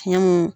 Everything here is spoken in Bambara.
Fiɲɛ mun